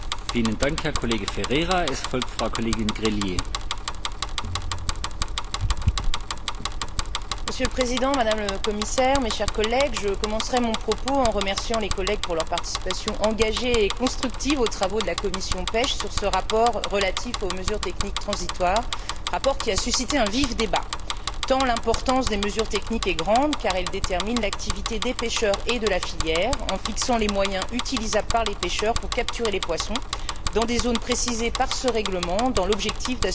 Monsieur le Président, Madame la Commissaire, chers collègues, je commencerai mon propos en remerciant les collègues pour leur participation engagée et constructive aux travaux de la commission de la pêche sur ce rapport relatif aux mesures techniques transitoires, rapport qui a suscité un vif débat, tant l'importance des mesures techniques est grande, car elle détermine l'activité des pêcheurs et de la filière, en fixant les moyens utilisables par les pêcheurs pour capturer les poissons dans des zones précisées par ce règlement, dans l'objectif d'assurer la protection des juvéniles et le renouvellement des stocks, objectif partagé par tous et, en particulier, par les pêcheurs.